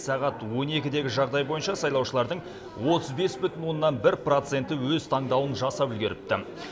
сағат он екідегі жағдай бойынша сайлаушылардың отыз бес бүтін оннан бір проценті өз таңдауын жасап үлгеріпті